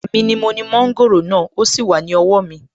Èmi ni mo ni mọ́ńgòrò náà, ó sì wà ní owó mi